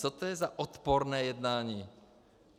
Co to je za odporné jednání?